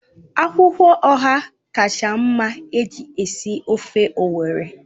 Akwụkwọ Ọha kacha mma iji sie ofe Owerri